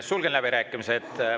Sulgen läbirääkimised.